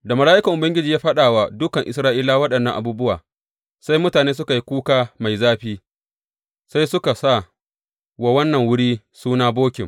Da mala’ikan Ubangiji ya faɗa wa dukan Isra’ilawa waɗannan abubuwa, sai mutane suka yi kuka mai zafi, sai suka sa wa wannan wuri suna, Bokim.